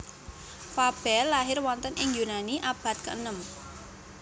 Fabel lahir wonten ing Yunani abad keenem